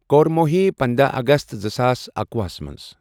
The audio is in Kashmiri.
کور موہی پندہَ اَگَست زٕساس اکۄہُ ہس مَنٛز.